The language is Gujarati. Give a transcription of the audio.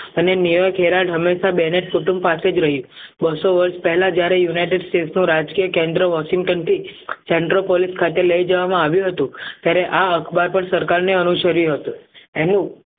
અને કુટુંબ પાસે જ રહ્યું બસ્સો વર્ષ પહેલાં જ્યારે united states નો રાજકીય કેન્દ્ર central પોલીસ ખાતે લઈ જવામાં આવ્યું હતું ત્યારે આ અખબાર પણ સરકારને અનુસરી હતો